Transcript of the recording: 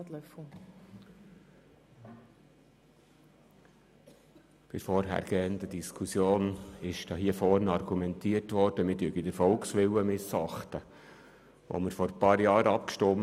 Bei der vorhergehenden Diskussion wurde hier am Rednerpult argumentiert, wir würden den Volkswillen missachten, weil darüber vor einigen Jahren an der Urne abgestimmt wurde.